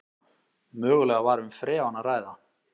Mögulega var um freon að ræða